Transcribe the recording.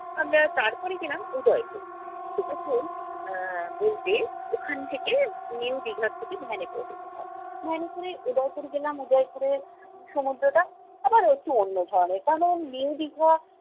আমরা তারপরে গেলাম উদয়পুর। উদয়পুর আহ বলতে ওখান থেকে new দীঘা থেকে van এ করে যেতে হয়। van এ করে উদয়পুর গেলাম। উদয়পুরে সমুদ্রটা আবার একটু অন্য ধরনের। কারন new দীঘা